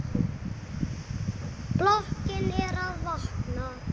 Blokkin er að vakna.